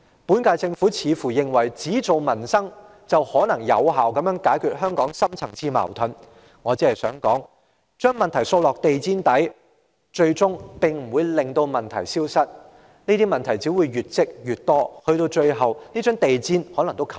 本屆政府似乎認為只做民生，便可有效解決香港的深層次矛盾，我只想指出，將問題掃入地毯底，最終不會令問題消失，這些問題只會越積越多，最後連地毯也蓋不住。